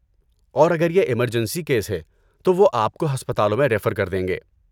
اور اگر یہ ایمرجنسی کیس ہے تو وہ آپ کو ہسپتالوں میں ریفر کر دیں گے۔